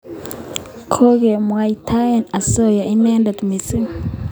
Kokemwaitae asoya inendet missing'